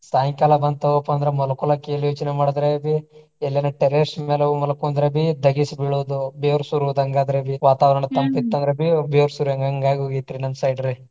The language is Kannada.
ಸಾಯಂಕಾಲ ಬಂತು ತುಗೊಪಾ ಅಂದ್ರ ಮಲ್ಕೊಳಾಕ ಎಲ್ಲಿ ಯೋಚನೆ ಮಾಡಿದ್ರಬಿ ಎಲ್ಯಾನ terrace ಮ್ಯಾಲ ಹೋಗಿ ಮಲ್ಕೊಂದ್ರಬಿ ಧಗಿಸಿ ಬೀಳೋದು. ಬೆವರು ಸುರದಂಗ ಆದ್ರೆಬಿ ವಾತಾವರಣ ತಂಪು ಇತ್ತು ಅಂದ್ರಬಿ ಬೆವರು ಹಂಗಾಗಿ ಹೋಗೇತ್ರಿ ನಮ್ಮ side ರಿ.